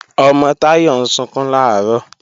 Ọmọ Táyọ̀ ń sunkún làárọ̀